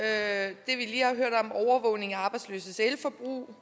af arbejdsløses elforbrug